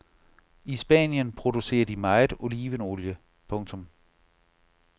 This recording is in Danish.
I Spanien producerer de meget olivenolie. punktum